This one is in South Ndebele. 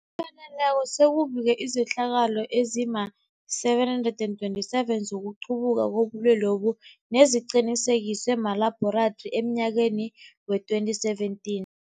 Ngokupheleleko, sekubikwe izehlakalo ezima-727 zokuqubuka kobulwelobu neziqinisekiswe malabhorathri emnyakeni we-2017.